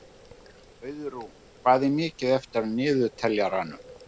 Auðrún, hvað er mikið eftir af niðurteljaranum?